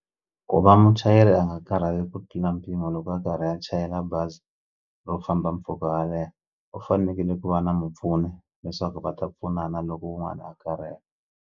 Ku va muchayeri a nga karhali ku tlula mpimo loko a karhi a chayela bazi ro famba mpfhuka wo leha u fanekele ku va na mupfuni leswaku va ta pfunana loko wun'wani a karhele.